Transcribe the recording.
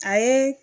A ye